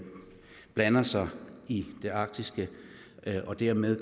blander sig i det arktiske og dermed